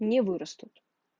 не вырастут